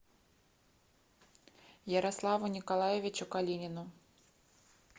ярославу николаевичу калинину